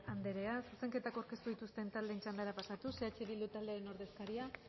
anderea zuzenketak aurkeztu dituzten taldeen txandara pasatuz eh bildu taldearen ordezkariak